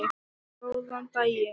Góðan daginn!